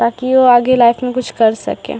ताकि इहो आगे लाइफ में कुछ कर सके।